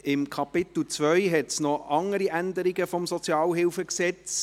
In Kapitel II gibt es noch weitere Änderungen des SHG.